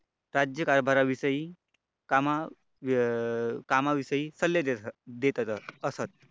राज्यकारभाराविषयी कामा अं कामाविषयी सल्ले देत असतात.